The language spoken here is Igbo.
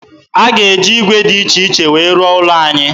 A ga-eji ígwè dị iche iche wee rụọ ụlọ anyị